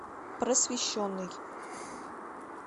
просвещенный